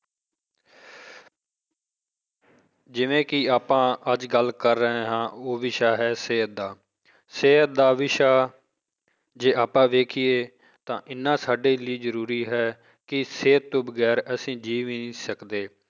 ਜਿਵੇਂ ਕਿ ਆਪਾਂ ਅੱਜ ਗੱਲ ਕਰ ਰਹੇ ਹਾਂ ਵਿਸ਼ਾ ਹੈ ਸਿਹਤ ਦਾ ਸਿਹਤ ਦਾ ਵਿਸ਼ਾ ਜੇ ਆਪਾਂ ਵੇਖੀਏ ਤਾਂ ਇੰਨਾ ਸਾਡੇ ਲਈ ਜ਼ਰੂਰੀ ਹੈ ਕਿ ਸਿਹਤ ਤੋਂ ਵਗ਼ੈਰ ਅਸੀਂ ਜੀਅ ਵੀ ਨਹੀਂ ਸਕਦੇ